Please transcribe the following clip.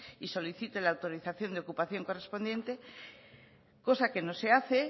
y solicite la autorización de ocupación correspondiente cosa que no se hace